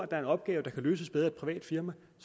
er en opgave der kan løses bedre af et privat firma